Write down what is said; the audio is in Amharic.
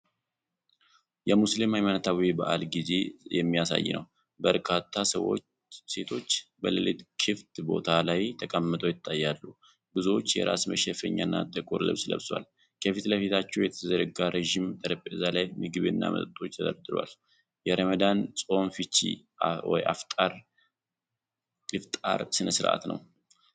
የሙስሊም ሃይማኖታዊ በዓል ጊዜ የሚያሳይ ነው። በርካታ ሴቶች በሌሊት ክፍት ቦታ ላይ ተቀምጠው ይታያሉ። ብዙዎቹ የራስ መሸፈኛና ጥቁር ልብስ ለብሰዋል። ከፊት ለፊታቸው በተዘረጋ ረጅም ጠረጴዛ ላይ ምግብና መጠጦች ተደርድረዋል። የረመዳን ጾም ፍቺ (ኢፍጣር) ስነስርዓት ነው።